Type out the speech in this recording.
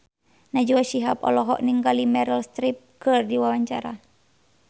Najwa Shihab olohok ningali Meryl Streep keur diwawancara